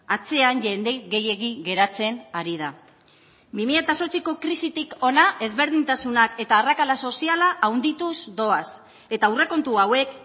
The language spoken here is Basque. atzean jende gehiegi geratzen ari da bi mila zortziko krisitik hona ezberdintasunak eta arrakala soziala handituz doaz eta aurrekontu hauek